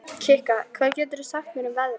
Kikka, hvað geturðu sagt mér um veðrið?